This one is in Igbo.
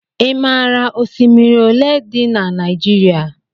I maara osimiri olé dị n' Naijiria?